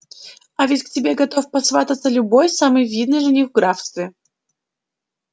а ведь к тебе готов посвататься любой самый видный жених в графстве